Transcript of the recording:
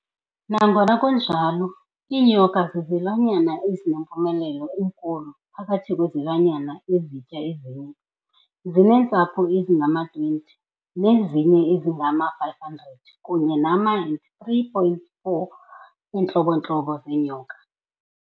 Nangona kunjalo, iinyoka zizilwanyana ezinempumelelo enkulu phakathi kwezilwanyana ezitya ezinye, zineentsapho ezingama-20, nezinye ezingama500 kunye nama-and 3,400 eentlobo ntlobo zeenyoka.